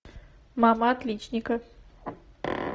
мама отличника